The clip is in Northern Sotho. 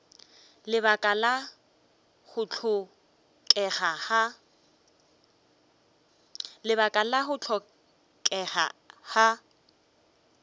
lebaka la go hlokega ga